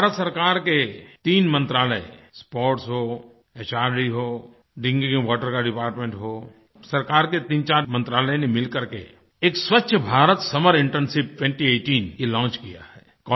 भारत सरकार के तीन मंत्रालय स्पोर्ट्स हो एचआरडी हो ड्रिंकिंग वाटर का डिपार्टमेंट हो सरकार के तीनचार मंत्रालय ने मिलकर के एक स्वछ भारत समर इंटर्नशिप 2018 ये लॉन्च किया है